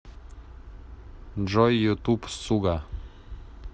джой ютуб суга